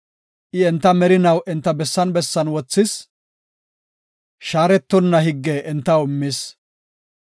I enta merinaw enta bessan bessan wothis; shaaretonna higge entaw immis.